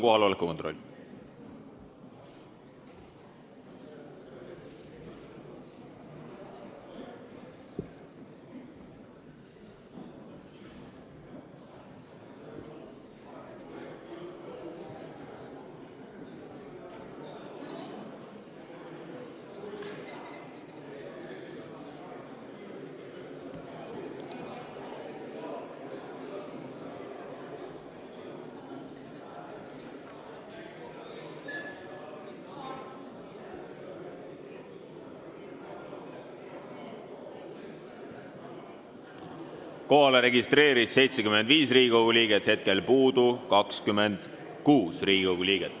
Kohaloleku kontroll Kohalolijaks registreerus 75 Riigikogu liiget, puudub 26 Riigikogu liiget.